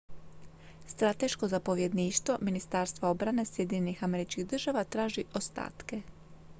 strateško zapovjedništvo ministarstva obrane sjedinjenih američkih država traži ostatke